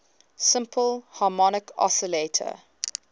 simple harmonic oscillator